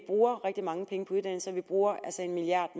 bruger rigtig mange penge på uddannelse og vi bruger altså en milliard